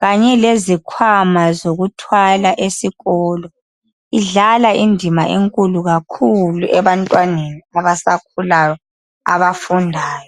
kanye lezikhwama zokuthwala esikolo. Idlala indima enkulu kakhulu ebantwaneni abasakhulayo abafundayo.